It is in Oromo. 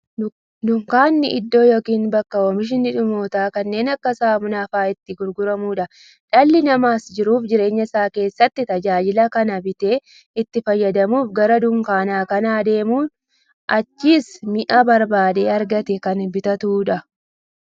Dunkaanni iddoo yookiin bakka oomishni dhumatoon kanneen akka saamunaa faa'a itti gurguramuudha. Dhalli namaas jiruuf jireenya isaa keessatti, tajaajila kana bitee itti fayyadamuuf, gara dunkaanaa kan deemuufi achiis mi'a barbaade argatee kan bitatuudha.